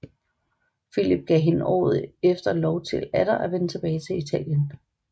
Filip gav hende året efter lov til atter at vende tilbage til Italien